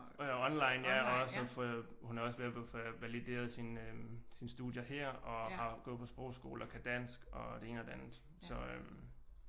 Online ja og hun er også ved at få valideret sine øh sine studier her og går på sprogskole og kan dansk og det ene og det andet så